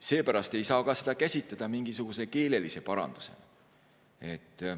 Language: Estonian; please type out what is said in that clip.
Seepärast ei saa seda ka käsitada mingisuguse keelelise parandusena.